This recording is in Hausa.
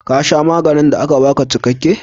Ka sha maganin da aka baka cikakke?